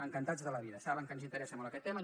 encantats de la vida saben que ens interessa molt aquest tema